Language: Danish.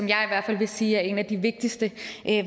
jeg i hvert fald vil sige er en af de vigtigste